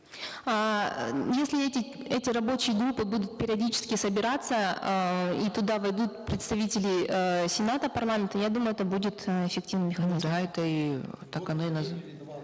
эээ если эти эти рабочие группы будут периодически собираться эээ и туда войдут представители эээ сената парламента я думаю это будет э эффективный механизм ну да это и так оно и